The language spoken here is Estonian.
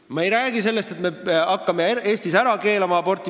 Ma ei räägi sellest, et me hakkame Eestis aborti ära keelama.